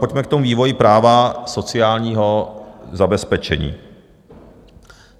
Pojďme k tomu vývoji práva sociálního zabezpečení.